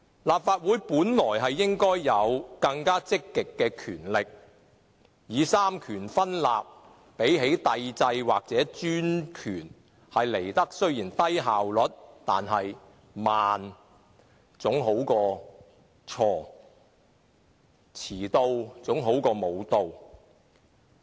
立法會本應有更積極的權力，雖然三權分立比帝制或專權的效率為低，但慢總比錯好，遲到總比不到好。